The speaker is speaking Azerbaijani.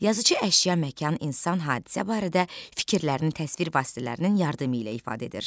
Yazıçı əşya, məkan, insan, hadisə barədə fikirlərini təsvir vasitələrinin yardımı ilə ifadə edir.